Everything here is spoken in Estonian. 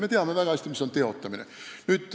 Me teame väga hästi, mis on teotamine.